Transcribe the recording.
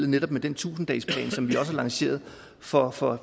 netop den tusind dagesplan som vi også har lanceret for for